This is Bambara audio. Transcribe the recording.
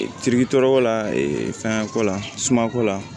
Firiki tɔɔrɔ la fɛnko la sumanko la